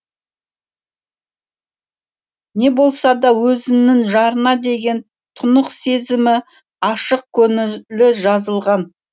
не болса да өзінің жарына деген тұнық сезімі ашық көңілі жазылған